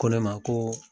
Ko ne ma ko